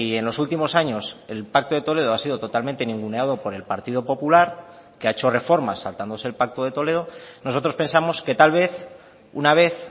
en los últimos años el pacto de toledo ha sido totalmente ninguneado por el partido popular que ha hecho reformas saltándose el pacto de toledo nosotros pensamos que tal vez una vez